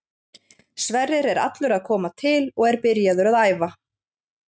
Sverrir er allur að koma til og er byrjaður að æfa.